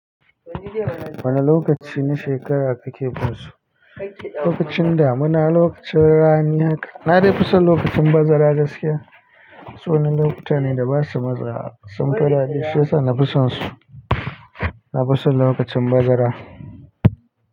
Wane lokaci na shekara kake so? Lokacin da muna lokacin rana ne haka. Na dai fi son lokacin bazara gaskiya. Su wannan okuta ne da basu maza, sun faɗa da shi yasa nafi son su. Na fi son lokacin bazara.